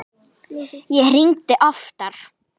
Ég hringdi oftar.